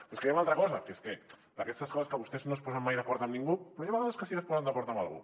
però és que hi ha una altra cosa d’aquestes coses que vostès no es posen mai d’acord amb ningú però hi ha vegades que sí que es posen d’acord amb algú